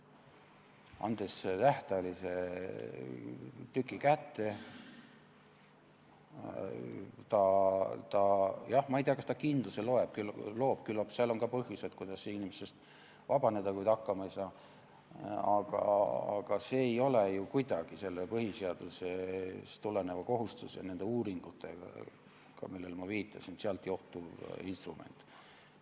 Kui anda tähtajaline tükk kätte, siis ma ei tea, kas see kindlust loob, küllap on ikka võimalusi, kuidas inimesest vabaneda, kui ta hakkama ei saa, aga see ei ole ju kuidagi sellest põhiseadusest tulenevast kohustusest, nendest uuringutest, millele ma viitasin, johtuv instrument.